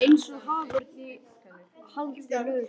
Eins og haförn í haldi lögreglu.